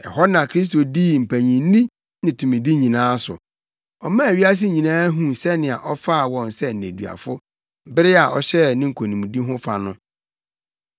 Ɛhɔ na Kristo dii mpanyinni ne tumidi nyinaa so. Ɔmaa wiase nyinaa huu sɛnea ɔfaa wɔn sɛ nneduafo, bere a ɔhyɛɛ ne nkonimdi ho fa no.